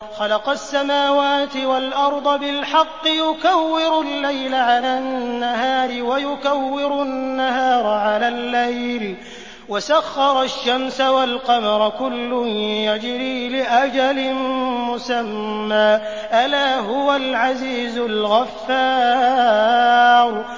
خَلَقَ السَّمَاوَاتِ وَالْأَرْضَ بِالْحَقِّ ۖ يُكَوِّرُ اللَّيْلَ عَلَى النَّهَارِ وَيُكَوِّرُ النَّهَارَ عَلَى اللَّيْلِ ۖ وَسَخَّرَ الشَّمْسَ وَالْقَمَرَ ۖ كُلٌّ يَجْرِي لِأَجَلٍ مُّسَمًّى ۗ أَلَا هُوَ الْعَزِيزُ الْغَفَّارُ